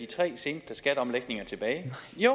tre seneste skatteomlægninger tilbage